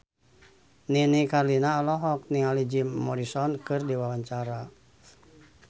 Nini Carlina olohok ningali Jim Morrison keur diwawancara